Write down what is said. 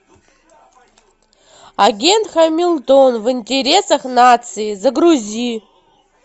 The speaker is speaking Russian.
агент хамилтон в интересах нации загрузи